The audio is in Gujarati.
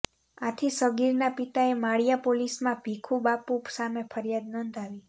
આથી સગીરના પિતાએ માળિયા પોલીસમાં ભીખુબાપુ સામે ફરિયાદ નોંધાવી હતી